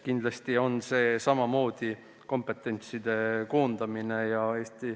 Kindlasti on eesmärk samamoodi kompetentsi koondamine.